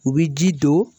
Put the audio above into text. U bi ji don